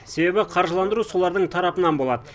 себебі қаржыландыру солардың тарапынан болады